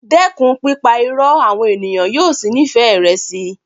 Dẹ́kun pípa Irọ́ àwọn ènìyàn yóò sì nífẹ̀ẹ́ rẹ síi.